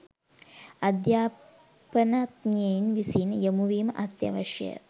අධ්‍යාපනඥයින් විසින් යොමුවීම අත්‍යවශ්‍යය